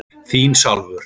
Þín Salvör.